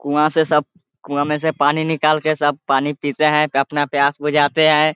कुआँ से सब कुआँ में से पानी निकाल के सब पानी पीते हैं अपना प्यास बुझाते हैं।